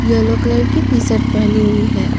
Yellow colour की T shirt पहनी हुई है।